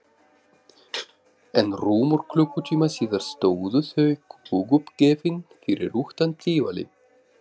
En rúmum klukkutíma síðar stóðu þau kúguppgefin fyrir utan Tívolí.